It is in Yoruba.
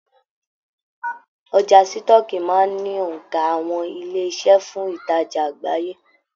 Ọjà sitọ̀ọ́kíi máa n ni onka àwọn ilé-iṣẹ́ fún ìtajà àgbáyé.